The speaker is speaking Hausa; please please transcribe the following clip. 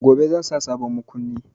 Gobe zan sa sabon makunni.